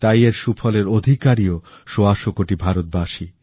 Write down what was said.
তাই এর সুফলের অধিকারীও সওয়াশো কোটি ভারতীয়ই